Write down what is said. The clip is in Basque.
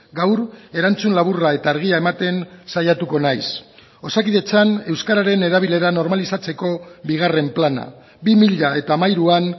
gaur erantzun laburra eta argia ematen saiatuko naiz osakidetzan euskararen erabilera normalizatzeko bigarren plana bi mila hamairuan